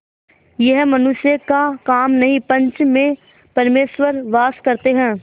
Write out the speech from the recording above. यह मनुष्य का काम नहीं पंच में परमेश्वर वास करते हैं